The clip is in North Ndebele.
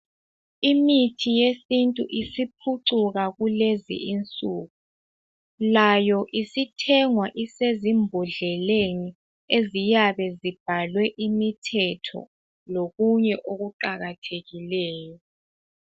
Imithi yesintu isiphucuka kulezi insuku, layo isithengwa isezimbodleleni eziyabe zibhalwe imithetho lokunye okuqakathekileyo